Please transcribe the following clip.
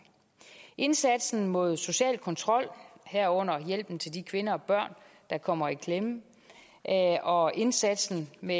indsatsen mod social kontrol herunder hjælpen til de kvinder og børn der kommer i klemme og indsatsen med